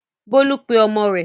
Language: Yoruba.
Bólú pe ọmọ rẹ̀?